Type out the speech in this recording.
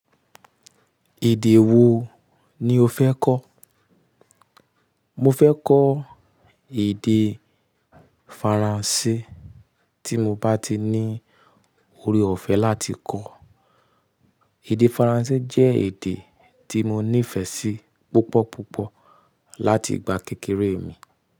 Èdè wo ni o fẹ́ kọ́? Mo fẹ́ kọ́ èdè Faransé tí mo bá ti ní ore ọ̀fẹ́ láti kọ́. Èdè Faransé jẹ́ èdè tí mo nífẹ̀ẹ́ sí púpọ̀ púpọ̀ láti ìgbà kékeré mi.